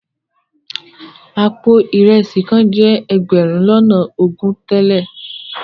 Àpò ìresì kan jẹ́ ẹgbẹ̀rún lọ́nà ogún tẹ́lẹ̀.